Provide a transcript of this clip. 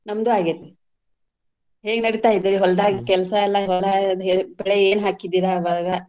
ನಮ್ದು ಆಗೇತಿ ಹೇಗ್ ನಡಿತಾಯಿದೆ ಹೊಲ್ದಾಗ ಕೆಲ್ಸಾ ಎಲ್ಲಾ ಬೆಳೆ ಏನ್ ಹಾಕಿದೀರಾ ಇವಾಗಾ?